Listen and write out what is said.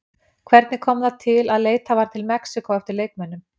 Hvernig kom það til að leitað var til Mexíkó eftir leikmönnum?